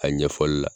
A ɲɛfɔli la